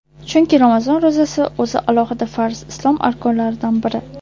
Chunki Ramazon ro‘zasi o‘zi alohida farz, Islom arkonlaridan biri.